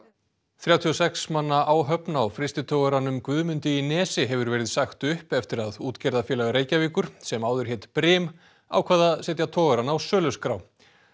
þrjátíu og sex manna áhöfn á frystitogaranum Guðmundi í Nesi hefur verið sagt upp eftir að Útgerðarfélag Reykjavíkur sem áður hét Brim ákvað að setja togarann á söluskrá